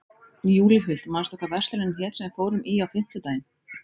Júlíhuld, manstu hvað verslunin hét sem við fórum í á fimmtudaginn?